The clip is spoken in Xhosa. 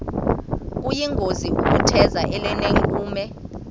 kuyingozi ukutheza elinenkume